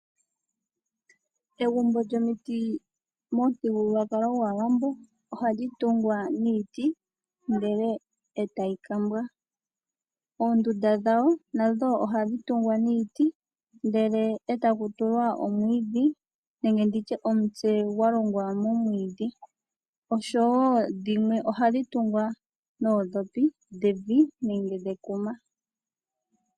Egumbo lyomiti momuthigululwakalo gwAawambo ohali tungwa niiti ndele etayi kambwa. Oondunda dhawo nadho nohadhi kumbwa nomwiidhi etadhi tulwa omutse gwakumbwa nomwiidhi oshowo dhimwe ohadhi kumbwa noondhopi devi nenge dhekuma.